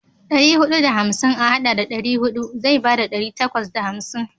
Ɗari huɗu da hamsin a haɗa da ɗari huɗu zai bada ɗari takwas da hamsin.